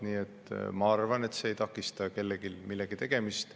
Nii et ma arvan, et see ei takista kellelgi millegi tegemist.